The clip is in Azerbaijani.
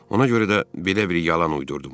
Ona görə də belə bir yalan uydurdum.